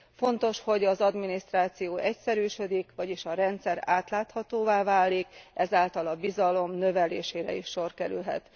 Fontos, hogy az adminisztráció egyszerűsödik, vagyis hogy a rendszer átláthatóvá válik, ezáltal a bizalom növelésére is sor kerülhet.